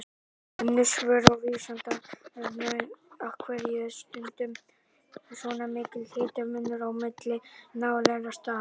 Önnur svör á Vísindavefnum: Af hverju er stundum svona mikill hitamunur á milli nálægra staða?